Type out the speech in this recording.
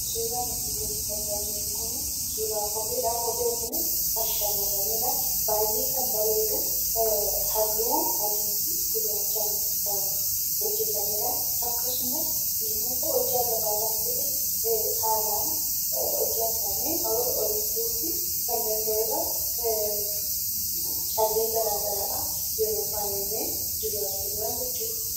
Suuraan asii gaditti argaa jirru kun suuraa kopheedha. Kopheen kunis kan shamarraniidha. Baay'ee kan bareedu halluu adii fi gurraachaan kan hojjatamedha. Akkasumas namoota hojjaa gabaabaa ta'ee hojjaa isaanii ol butuufii kan danda'udha. Callee garaagaraadhaan faayamee yeroo jiru argina jechuudha.